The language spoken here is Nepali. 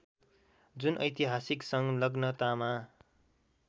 जुन ऐतिहासिक सङ्लग्नतामा